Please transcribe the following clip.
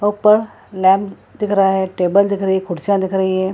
ऊपर लैंप दिख रहा है टेबल दिख रही है कुर्सियाँ दिख रही है।